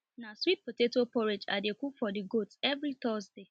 na sweet potato porridge i dey cook for the goats every thursday